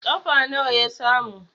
kafa nawa ya samu?